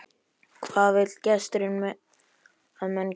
Hvað vill gestur að menn geri nú?